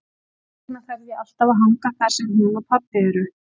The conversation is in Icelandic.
Þess vegna þarf ég alltaf að hanga þar sem hún og pabbi eru.